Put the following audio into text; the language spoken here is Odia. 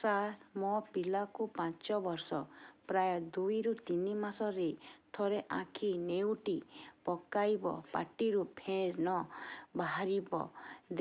ସାର ମୋ ପିଲା କୁ ପାଞ୍ଚ ବର୍ଷ ପ୍ରାୟ ଦୁଇରୁ ତିନି ମାସ ରେ ଥରେ ଆଖି ନେଉଟି ପକାଇବ ପାଟିରୁ ଫେଣ ବାହାରିବ